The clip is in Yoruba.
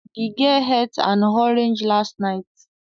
The girl ate an orange last night